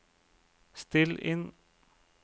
still inn